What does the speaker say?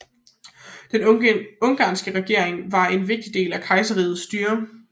Den ungarske regering var en vigtig del af kejserrigets styre